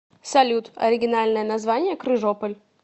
салют оригинальное название крыжополь